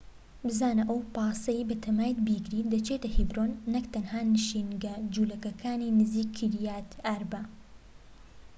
بزانە ئەو پاسەی بەتەمایت بیگریت دەچێتە هێبرۆن نەك تەنها نشینگە جولەکەکانی نزیکی کیریات ئاربە